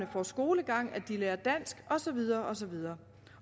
får skolegang at de lærer dansk og så videre og så videre